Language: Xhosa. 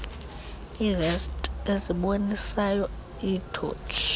iivesti ezibonisayo iithotshi